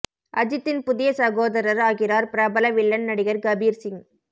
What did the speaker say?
அஜித்தின் புதிய சகோதரர் ஆகிறார் பிரபல வில்லன் நடிகர் கபீர் சிங்